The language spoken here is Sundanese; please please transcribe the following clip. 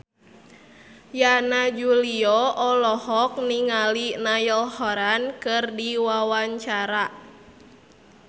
Yana Julio olohok ningali Niall Horran keur diwawancara